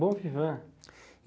Bon vivant.